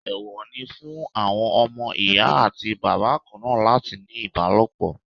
Èèwọ̀ ni fún àwọn ọmọ Ìyá àti Bàbá kanáà láti ní ìbálòpọ̀.